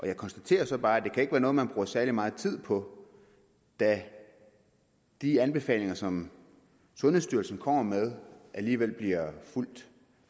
jeg konstaterer så bare at det ikke er noget som man bruger særlig meget tid på da de anbefalinger som sundhedsstyrelsen kommer med alligevel bliver fulgt